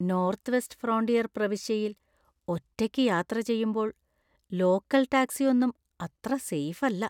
North west frontier പ്രവിശ്യയിൽ ഒറ്റയ്ക്ക് യാത്ര ചെയ്യുമ്പോൾ ലോക്കൽ ടാക്സി ഒന്നും അത്ര സെയ്ഫ് അല്ല.